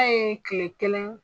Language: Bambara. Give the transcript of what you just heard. A ye kile kelen